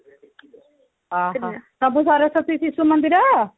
ଓଃହୋ ସବୁ ସରସ୍ଵତୀ ଶିଶୁ ମନ୍ଦିର